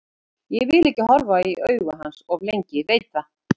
Ég vil ekki horfa í augu hans of lengi, ég veit það.